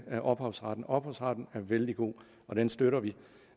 ophavsretten ophavsretten er vældig god og den støtter vi